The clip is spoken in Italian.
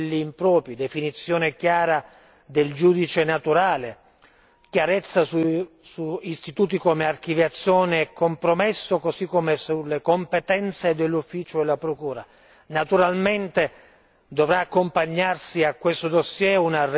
garanzie, valutare concretamente i costi eliminando quelli impropri, definizione chiara del giudice naturale, chiarezza su istituti come archiviazione e compromesso, così come sulle competenze dell'ufficio della procura.